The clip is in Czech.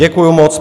Děkuju moc.